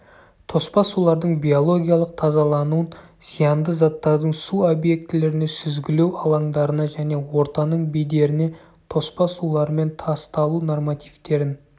тоспа сулардың биологиялық тазалануын зиянды заттардың су объектілеріне сүзгілеу алаңдарына және ортаның бедеріне тоспа сулармен тасталу нормативтерін